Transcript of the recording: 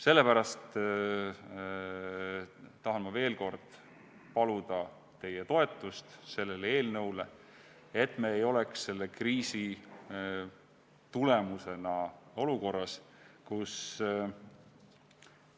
Sellepärast tahan ma veel kord paluda teie toetust sellele eelnõule, et me ei oleks selle kriisi tõttu olukorras, kus